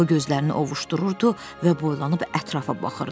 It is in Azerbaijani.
O gözlərini ovușdururdu və boylanıb ətrafa baxırdı.